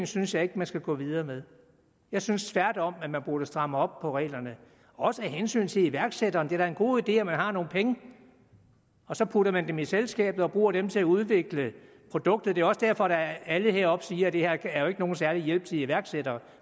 synes jeg ikke man skal gå videre med jeg synes tværtom at man burde stramme op på reglerne også af hensyn til iværksættere det er da en god idé at man har nogle penge og så putter man dem i selskabet og bruger dem til at udvikle produkter det er også derfor at alle heroppe siger at det her jo ikke er nogen særlig hjælp til iværksættere